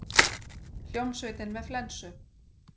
Hljómsveitin með flensu